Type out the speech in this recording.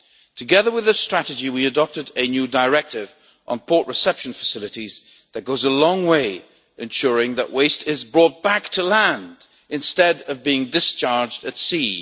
Together with this strategy, we adopted a new directive on port reception facilities, which goes a long way, ensuring that waste is brought back to land instead of being discharged at sea.